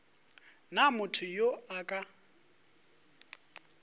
na motho yo a ka